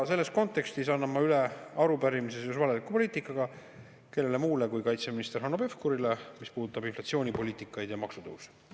Selles kontekstis annan ma üle arupärimise seoses valeliku poliitikaga kellele muule kui kaitseminister Hanno Pevkurile, mis puudutab inflatsioonipoliitikat ja maksutõusu.